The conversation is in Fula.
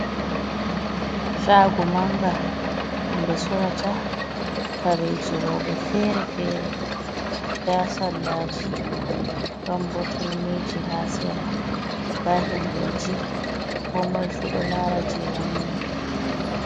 Shaago mannga ɗum ɓe sorrata kareeji rewɓe feere-feere, nda sallaaji ɗon bo turmiiji haa sera, nda himɓeeji, koo moy fuu ɗo laara jey wanni ɗum.